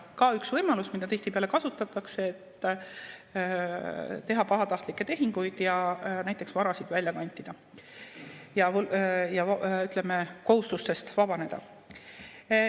See on üks võimalus, mida tihtipeale kasutatakse, et teha pahatahtlikke tehinguid ja näiteks varasid välja kantida ja kohustustest vabaneda.